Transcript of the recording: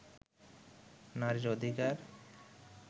নারীর অধিকার